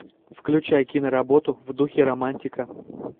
включай киноработу в духе романтика